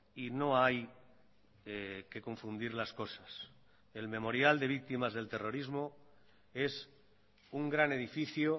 y no hay que confundir las cosas el memorial de victimas del terrorismo es un gran edificio